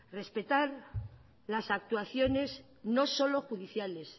respetar las actuaciones no solo judiciales